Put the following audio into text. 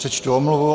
Přečtu omluvu.